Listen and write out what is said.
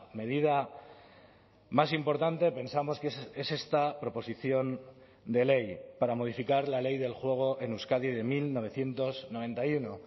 medida más importante pensamos que es esta proposición de ley para modificar la ley del juego en euskadi de mil novecientos noventa y uno